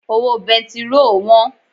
Owó bẹntiróò wọ́n.